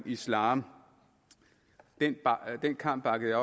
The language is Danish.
islam den kamp bakkede